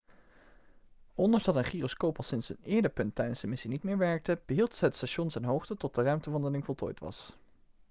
ondanks dat een gyroscoop al sinds een eerder punt tijdens de missie niet meer werkte behield het station zijn hoogte tot de ruimtewandeling voltooid was